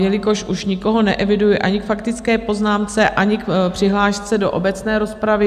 Jelikož už nikoho neeviduji ani k faktické poznámce, ani k přihlášce do obecné rozpravy...